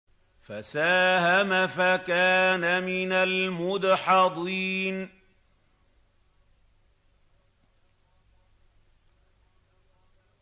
فَسَاهَمَ فَكَانَ مِنَ الْمُدْحَضِينَ